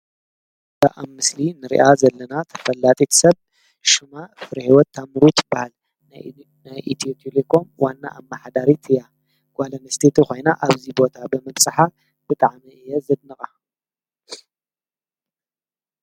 በ ኣብ ምስሊ ንርኣ ዘለና ተፈላጢት ሰብ ሹማ ፍርሕይወት ኣታምሩት በሃል ነኢትቴሌኮም ዋና ኣብ ማሓዳሪትያ ጓለምስተቲ ኾይና ኣብዚ ቦታ በመጽሓ ብጥዓመ እየ ዘንቓ!